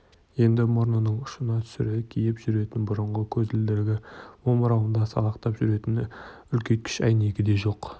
енді мұрнының ұшына түсіре киіп жүретін бұрынғы көзілдірігі омырауында салақтап жүретін үлкейткіш әйнегі де жоқ